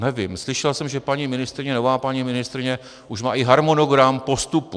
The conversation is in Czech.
Nevím, slyšel jsem, že paní ministryně, nová paní ministryně, už má i harmonogram postupu.